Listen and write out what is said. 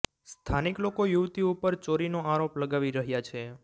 સ્થાનિક લોકો યુવતી ઉપર ચોરીનો આરોપ લગાવી રહ્યા છે